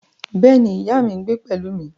Bẹ́ẹ̀ ni, ìyá mi ń gbé pẹ̀lú mi